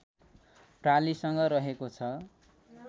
प्रालिसँग रहेको छ